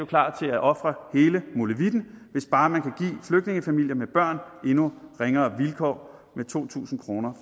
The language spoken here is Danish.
klar til at ofre hele molevitten hvis bare man kan give flygtningefamilier med børn endnu ringere vilkår med to tusind kroner